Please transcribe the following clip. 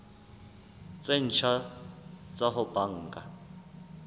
tse ntjha tsa ho banka